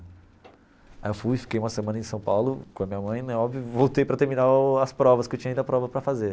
Aí eu fui, fiquei uma semana em São Paulo com a minha mãe né óbvio e voltei para terminar o as provas que eu tinha ainda prova para fazer.